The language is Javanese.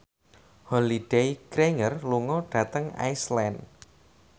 Holliday Grainger lunga dhateng Iceland